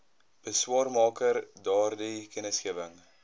beswaarmaker daardie kennisgewing